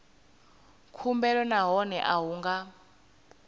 khumbelo nahone a hu nga